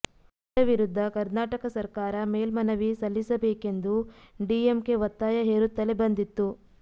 ಇದರ ವಿರುದ್ಧ ಕರ್ನಾಟಕ ಸರಕಾರ ಮೇಲ್ಮನವಿ ಸಲ್ಲಿಸಬೇಕೆಂದು ಡಿಎಂಕೆ ಒತ್ತಾಯ ಹೇರುತ್ತಲೇ ಬಂದಿತ್ತು